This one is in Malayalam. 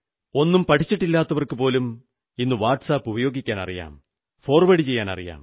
ഒന്നും പഠിച്ചിട്ടില്ലാത്തവർക്കുപോലും ഇന്ന് വാട്സ് ആപിൽ അയയ്ക്കാനറിയാം ഫോർവേഡു ചെയ്യാനുമറിയാം